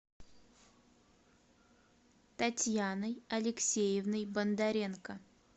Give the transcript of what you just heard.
татьяной алексеевной бондаренко